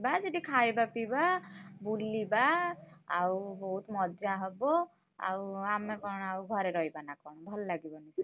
ଯିବା ସେଠି ଖାଇବା ପିଇବା ବୁଲିବା ଆଉ ବହୁତ୍ ମଜା ହବ। ଆଉ ଆମେ କଣ ଆଉ ଘରେ ରହିବା ନା କଣ ଭଲ ଲାଗିବନି ସେଗୁଡ।